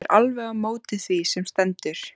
Ég er alveg á móti því sem stendur.